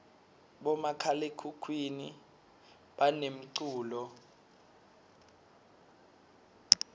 bomakhalakhukhuni banemculo